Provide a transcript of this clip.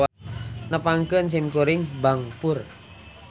Nepangkeun sim Kuring Bangpur.